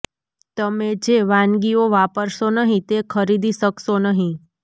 તમે જે વાનગીઓ વાપરશો નહીં તે ખરીદી કરશો નહીં